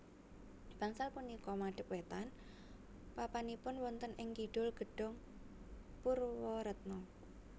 Bangsal punika madep wétan papanipun wonten ing Kidul Gedhong Purwaretna